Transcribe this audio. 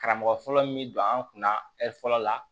Karamɔgɔ fɔlɔ min bɛ don an kun na fɔlɔ la